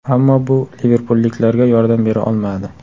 Ammo bu liverpulliklarga yordam bera olmadi.